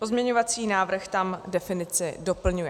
Pozměňovací návrh tam definici doplňuje.